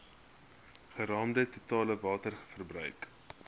geraamde totale waterverbruik